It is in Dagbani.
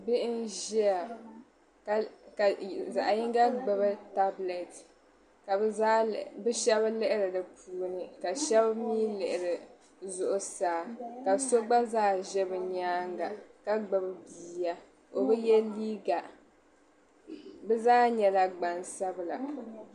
bihi n-ʒia ka zaɣ'yinga gbubi taabulɛɛti ka shɛba lihiri di puuni ka shɛba mii lihiri zuɣusaa ka so gba zaa ʒe bɛ nyaanga ka gbubi bia o bi ye liiga bɛ zaa nyɛla gban'sabila